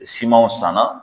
Simanw sanna.